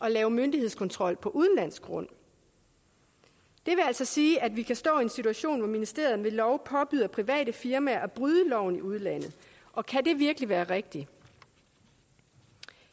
at lave myndighedskontrol på udenlandsk grund det vil altså sige at vi kan stå i en situation hvor ministeren ved lov påbyder private firmaer at bryde loven i udlandet og kan det virkelig være rigtigt